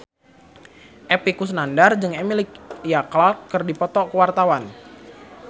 Epy Kusnandar jeung Emilia Clarke keur dipoto ku wartawan